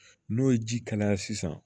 N'o ye ji kalaya sisan